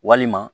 Walima